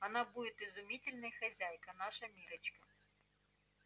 она будет изумительной хозяйкой наша миррочка